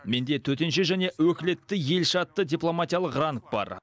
менде төтенше және өкілетті елші атты дипломатиялық ранг бар